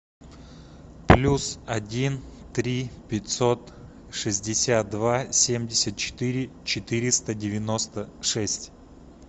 плюс один три пятьсот шестьдесят два семьдесят четыре четыреста девяносто шесть